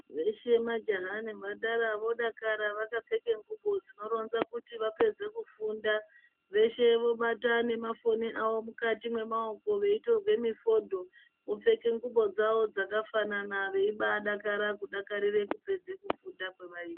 Veshe majaha nemhandara vodakara vakapfeke ngubo dzinoronza kuti vapedze kufunda. Veshe vobate nemafoni avo mukati mwemaoko veitorwe mifodho. Vopfeke ngubo dzavo dzakafanana veibadakara kudakarire kupedza kufunda kwevaita.